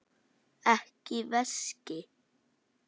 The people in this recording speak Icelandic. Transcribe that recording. Ekki veski.